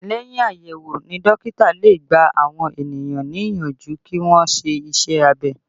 Lẹ́yìn àyẹ̀wò ni dókítà lè gbà àwọn ènìyàn níyànjú kí wọn ṣe iṣẹ́ abẹ